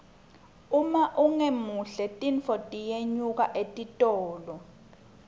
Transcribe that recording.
uma ungemuhle tintfo tiyanyuka etitolo